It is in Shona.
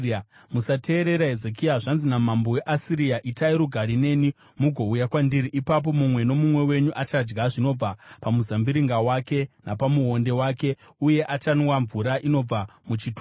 “Musateerera Hezekia. Zvanzi namambo weAsiria: Itai rugare neni mugouya kwandiri. Ipapo mumwe nomumwe wenyu achadya zvinobva pamuzambiringa wake napamuonde wake uye achanwa mvura inobva muchitubu chake,